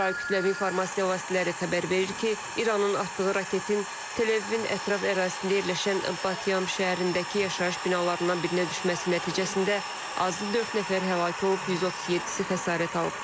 İsrail kütləvi informasiya vasitələri xəbər verir ki, İranın atdığı raketin Tel-Əvivin ətraf ərazisində yerləşən Bat Yam şəhərindəki yaşayış binalarından birinə düşməsi nəticəsində azı dörd nəfər həlak olub, 137-si xəsarət alıb.